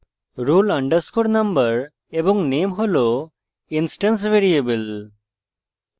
roll _ number এবং name roll instance variable